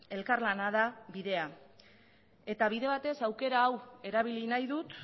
elkarlana da bidea eta bide batez aukera hau erabili nahi dut